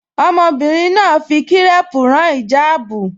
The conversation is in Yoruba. Ọmọbìnrin náà fi kírẹ́ẹ̀pù rán ìjáàbù